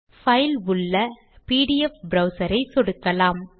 file உள்ள PDF browser ஐ சொடுக்கலாம்